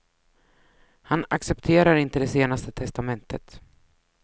Han accepterar inte det senaste testamentet.